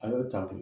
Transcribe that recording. A y'o ta ten